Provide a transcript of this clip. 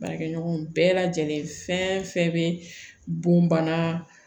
Baarakɛɲɔgɔnw bɛɛ lajɛlen fɛn fɛn bɛ bɔn bana